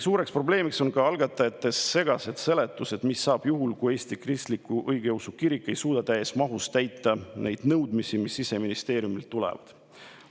Suureks probleemiks on ka algatajate segased seletused, mis saab juhul, kui Eesti Kristlik Õigeusu Kirik ei suuda täies mahus täita neid nõudmisi, mis Siseministeeriumilt tulevad.